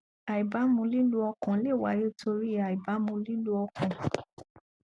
àìbámu lílù ọkàn lè wáyé torí ì àìbámú lihlù ọkàn